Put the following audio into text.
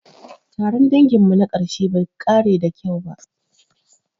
Taron danginmu na ƙarshe bai ƙare da kyau ba.